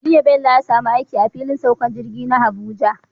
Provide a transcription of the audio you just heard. Jiya Bello ya samu aiki a filin saukar jirgi na Abuja